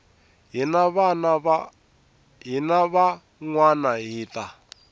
hina van wana hi ta